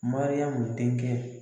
Mariyamu denkɛ